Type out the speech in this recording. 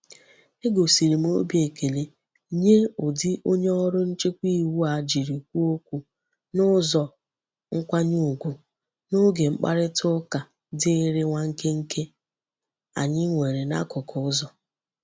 Egosiri m obi ekele nye udi onye oru nchekwa iwu a jiri kwuo okwu n'uzo nkwanye ugwu n'oge mkparita uka diri nwa nkenke anyi nwere n'akuku uzo.